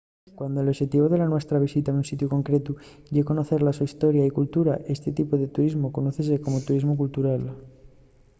cuando l’oxetivu de la nuestra visita a un sitiu concretu ye conocer la so historia y cultura esti tipu de turismu conozse como turismu cultural